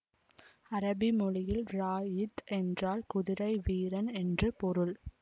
அரபி மொழியில் ராஇத் என்றால் குதிரை வீரன் என்று பொருள்